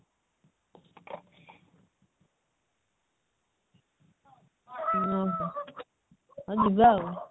ହଁ ହଁ ହଉ ଯିବା ଆଉ